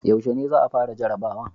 Yaushe ne za a fara jarabawan?